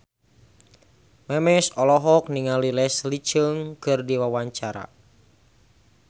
Memes olohok ningali Leslie Cheung keur diwawancara